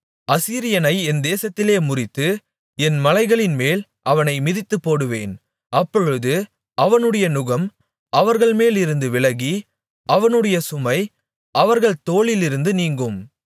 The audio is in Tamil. அசீரியனை என் தேசத்திலே முறித்து என் மலைகளின்மேல் அவனை மிதித்துப்போடுவேன் அப்பொழுது அவனுடைய நுகம் அவர்கள்மேலிருந்து விலகி அவனுடைய சுமை அவர்கள் தோளிலிருந்து நீங்கும்